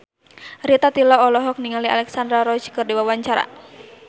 Rita Tila olohok ningali Alexandra Roach keur diwawancara